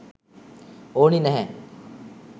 ඕනි නැහැ.